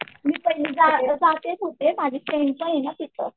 मी जाते तिथं माझ्या फ्रेंडच आहे ना तिथं.